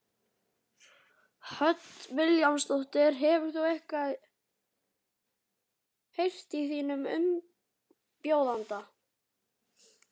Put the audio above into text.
Hödd Vilhjálmsdóttir: Hefur þú eitthvað heyrt í þínum umbjóðanda?